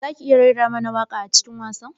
Zaki iya raira mana waƙa a cikin wasan?